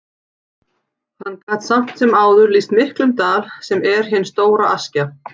Hann gat samt sem áður lýst miklum dal, sem er hin stóra Askja.